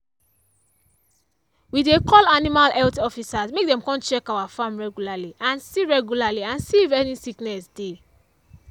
we dey call animal health officers make dem come check our farm regularly and see regularly and see if any sickness dey.